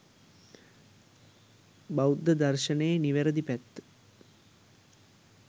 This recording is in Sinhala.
බෞද්ධ දර්ශනයේ නිවැරදි පැත්ත